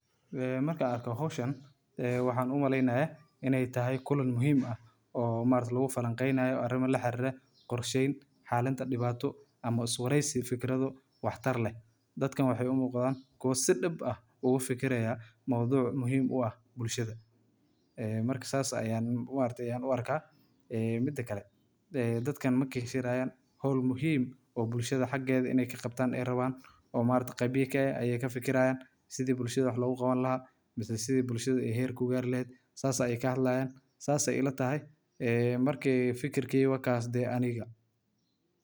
Wareysiga YouTube-ka waa hab muhiim ah oo lagu wadaago fikradaha, waayo-aragnimada, iyo sheekooyinka dadka kala duwan ee bulshada dhexdeeda ku nool. Marka la sameynayo wareysi, qofka waraysiga qaadaya ayaa diyaar gareeya su’aalo xiiso leh oo ka turjumaya mowduuca la doonayo in laga hadlo, taas oo ka caawisa in la helo xog macquul ah oo faahfaahsan. Inta badan.